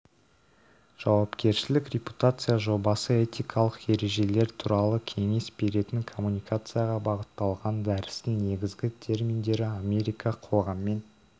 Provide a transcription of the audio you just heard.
жауапкершілік репутация жобасы этикалық ережелер турал кеңес беретін коммуникацияға бағытталған дәрістің негізгі терминдері америка қоғаммен